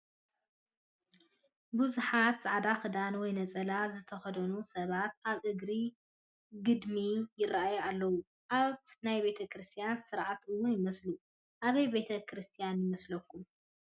ብዙሓት ፃዕዳ ክዳን ወይ ነፀላ ዝተኸደኑ ሰባት ኣብ እግሪ ግድሚ ይራኣዩ ኣለው፡፡ ኣብ ናይ ቤተ ክርስትያን ስርዓት ውን ይመስሉ፡፡ ኣበይ ቤተ ክርስትያን ይመስለኩም?